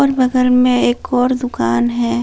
बगल में एक और दुकान है।